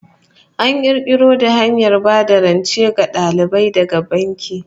An kirkiro da hanyar ba da rance ga dalibai daga banki